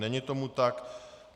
Není tomu tak.